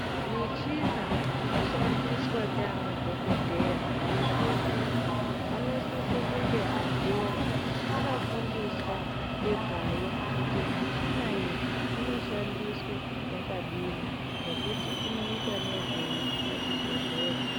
Michina inoshandiswa ndianadhokodheya pachibhedhleya, anosise kunge antu iwona, akafundiswa ngezvayo, kuti michina iyi inoshandiswe yakadini, nekuti inoita nezvei pachibhedhleya.